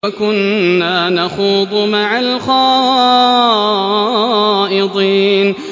وَكُنَّا نَخُوضُ مَعَ الْخَائِضِينَ